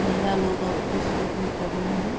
महिला लोग और पुरुष लोग भी कर रहें हैं।